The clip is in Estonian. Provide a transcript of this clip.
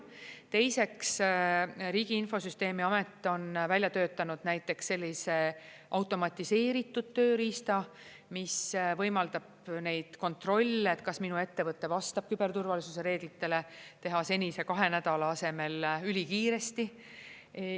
Teiseks, Riigi Infosüsteemi Amet on välja töötanud näiteks sellise automatiseeritud tööriista, mis võimaldab neid kontrolle, et kas mu ettevõte vastab küberturvalisuse reeglitele, teha senise kahe nädala asemel ülikiiresti.